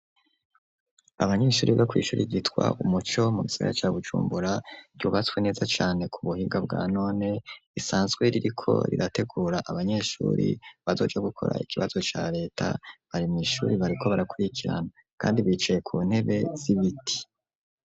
abanyeshure bo kw'ishure ryitwa umuco mu gisagara ca bujumbura ryubatswe neza cyane ku buhinga bwa none isanzwe ririko rirategura abanyeshuri bazoja gukora ikibazo cya leta bari mu ishuri bariko barakurikirana kandi bicaye ku ntebe z'ibiti.